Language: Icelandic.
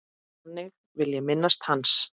Þannig vil ég minnast hans.